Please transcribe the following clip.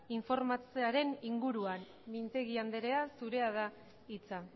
informatzearen inguruan mintegi andrea zure da hitza